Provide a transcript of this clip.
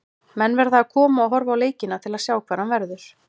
Menn verða að koma og horfa á leikina til að sjá hvar hann verður.